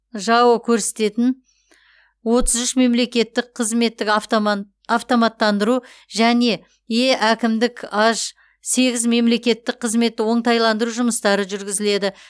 жао көрсететін отыз үш мемлекеттік қызметтік автоматтандыру және е әкімдік аж сегіз мемлекеттік қызметті оңтайландыру жұмыстары жүргізіледі